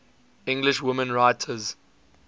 english women writers